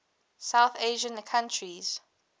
south asian countries